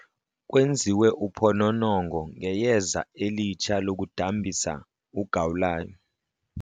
Kwenziwe uphononongo ngeyeza elitsha lokudambisa ugawulayo.